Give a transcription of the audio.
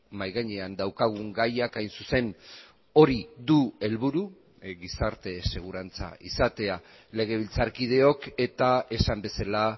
mahai gainean daukagun gaiak hain zuzen hori du helburu gizarte segurantza izatea legebiltzarkideok eta esan bezala